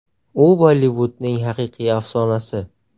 U Bollivudning haqiqiy afsonasi.